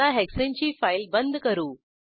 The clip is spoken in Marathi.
आता हेक्साने ची फाईल बंद करू